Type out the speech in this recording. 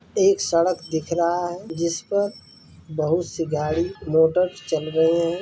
एक सड़क दिख रहा है जिसपर बहोत से गाड़ी मोटर चल रहें है।